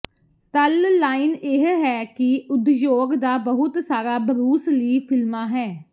ਤਲ ਲਾਈਨ ਇਹ ਹੈ ਕਿ ਉਦਯੋਗ ਦਾ ਬਹੁਤ ਸਾਰਾ ਬਰੂਸ ਲੀ ਫਿਲਮਾਂ ਹੈ